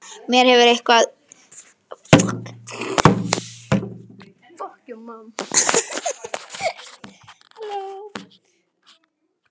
Mér hefur einatt líkað vel að ræða við þig.